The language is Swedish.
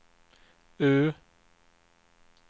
U